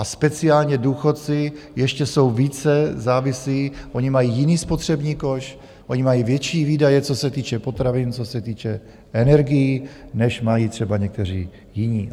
A speciálně důchodci ještě jsou více závisí, oni mají jiný spotřební koš, oni mají větší výdaje, co se týče potravin, co se týče energií, než mají třeba někteří jiní.